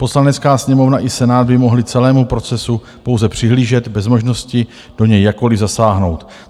Poslanecká sněmovna i Senát by mohly celému procesu pouze přihlížet bez možnosti do něj jakkoli zasáhnout.